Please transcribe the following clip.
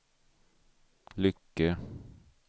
Lycke